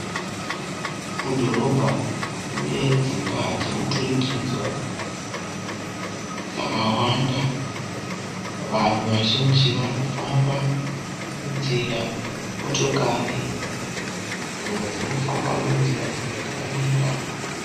Mudhorobha mune dzimba dzemuturikidzwa dzakawanda. Vanhu vazhinji varikufamba munzira. Motokari dzimwe dzirikufamba munzira dzimwe dzakamira.